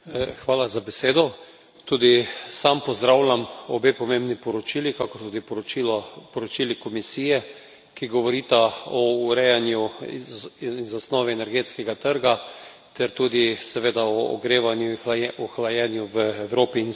Tudi sam pozdravljam obe pomembni poročili, kakor tudi poročili Komisije, ki govorita o urejanju in zasnovi energetskega trga ter tudi seveda o ogrevanju in hlajenju v Evropi in strategiji na tem področju.